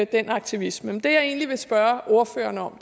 den aktivisme men det jeg egentlig vil spørge ordføreren om